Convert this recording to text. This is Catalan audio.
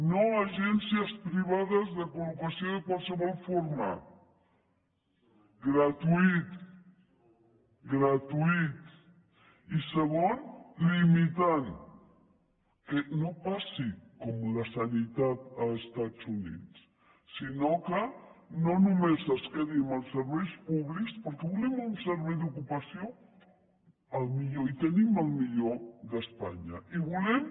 no agències privades de col·locació de qualsevol forma gratuït gratuït i segon limitant que no passi com la sanitat als estats units sinó que no només es quedi amb els serveis públics perquè volem un servei d’ocupació el millor i tenim el millor d’espanya i volem